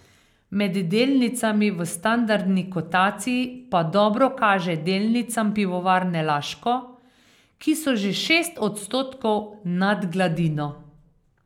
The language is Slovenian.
Med delnicami v standardni kotaciji pa dobro kaže delnicam Pivovarne Laško, ki so že šest odstotkov nad gladino.